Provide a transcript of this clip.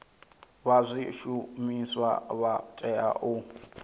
vha zwishumiswa vha tea u